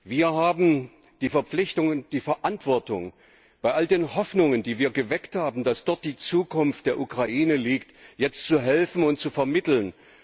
Wir haben die Verpflichtung und die Verantwortung, bei all den Hoffnungen, die wir geweckt haben, dass dort die Zukunft der Ukraine liegt, jetzt zu helfen und zu vermitteln.